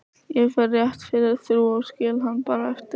Ég fer rétt fyrir þrjú og skil hann bara eftir